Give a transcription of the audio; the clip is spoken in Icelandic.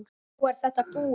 Nú er þetta búið.